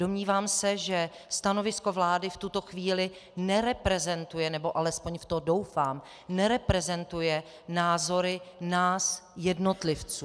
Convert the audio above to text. Domnívám se, že stanovisko vlády v tuto chvíli nereprezentuje, nebo alespoň v to doufám, nereprezentuje názory nás jednotlivců.